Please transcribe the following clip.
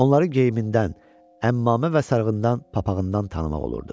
Onları geyimindən, əmmamə və sarığından, papağından tanımaq olurdu.